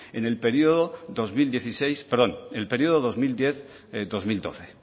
en el periodo dos mil diez dos mil doce